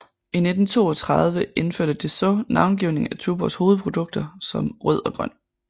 I 1932 indførte Dessau navngivning af Tuborgs hovedprodukter som Rød og Grøn